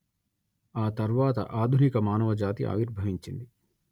ఆ తర్వాత ఆధునిక మానవ జాతి ఆవిర్భవించింది